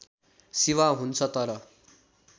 सेवा हुन्छ तर